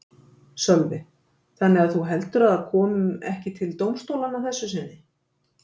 Sölvi: Þannig að þú heldur að það kom ekki til dómstólanna að þessu sinni?